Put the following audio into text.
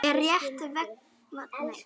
Er rétt vestan við Prag.